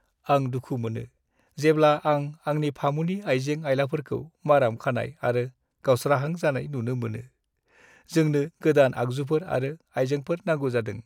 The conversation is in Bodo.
आं दुखु मोनो जेब्ला आं आंनि फामुनि आइजें-आइलाफोरखौ माराम खानाय आरो गावस्राहां जानाय नुनो मोनो। जोंनो गोदान आगजुफोर आरो आइजेंफोर नांगौ जादों।